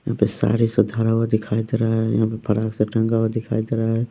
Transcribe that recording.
यहाँ पे साड़ी से धरा हुआ दिखाई दे रहा है यहाँ पे फराक सब टंगा हुआ दिखाई दे रहा है।